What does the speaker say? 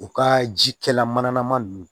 U ka jikɛla manama nunnu